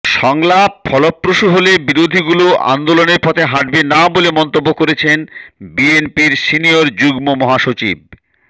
সংলাপ ফলপ্রসূ হলে বিরোধীদলগুলো আন্দোলনের পথে হাঁটবে না বলে মন্তব্য করেছেন বিএনপির সিনিয়র যুগ্ম মহাসচিব